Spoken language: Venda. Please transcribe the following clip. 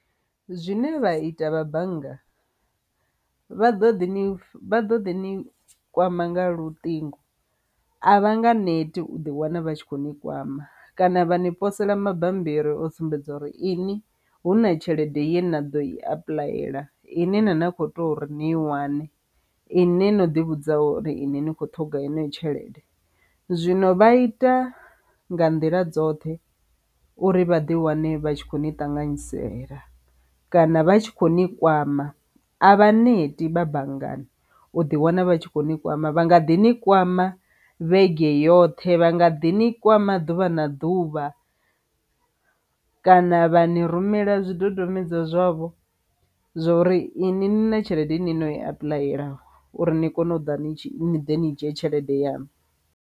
Zwine vha ita vha bannga vha ḓo ḓi vha ḓo ḓi ni kwama nga luṱingo, a vha nga neti u ḓi wana vha tshi kho ni kwama kana vha ni posela mabambiri o sumbedza uri ini huna tshelede ye na ḓo i apuḽayela ine na na kho tea uri ni i wane i ne no ḓi vhudza uri ini ni khou ṱhoga eneyo tshelede. Zwino vha ita nga nḓila dzoṱhe uri vha ḓi wane vha tshi kho ni ṱanganyisela kana vha tshi kho ni kwama, a vha neti vha banngani u ḓi wana vha tshi kho ni kwama vha nga ḓi ni kwama vhege yoṱhe vha nga ḓi ni kwama ḓuvha na ḓuvha kana vha ni rumela zwidodombedzwa zwavho zwa uri ini ni na tshelede i ne no i apuḽaya uri ni kone u ḓa ni tshi ni dzhie tshelede yanu.